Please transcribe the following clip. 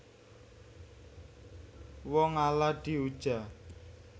Wong ala diuja